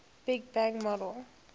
big bang model